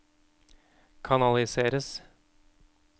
kanaliseres